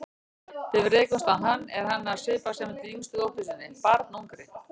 Þegar við rekumst á hann er hann að svipast eftir yngstu dóttur sinni, barnungri.